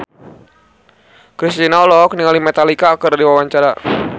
Kristina olohok ningali Metallica keur diwawancara